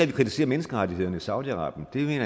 vi kritiserer menneskerettighederne i saudi arabien